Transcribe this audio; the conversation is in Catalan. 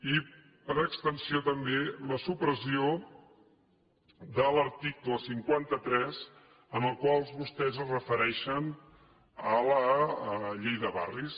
i per extensió també la supressió de l’article cinquanta tres en el qual vostès es refereixen a la llei de barris